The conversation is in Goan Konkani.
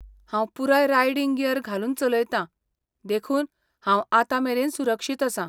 हांव पुराय रायडिंग गियर घालून चलयतां, देखून हांव आतां मेरन सुरक्षीत आसां.